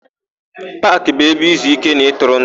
Paakị bụ ebe izuíké na ịtụrụndụ.